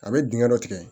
A bɛ dingɛ dɔ tigɛ